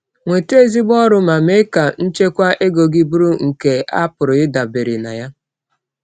“Nweta ezigbo ọrụ ma mee ka nchekwa ego gị bụrụ nke a pụrụ ịdabere na ya.”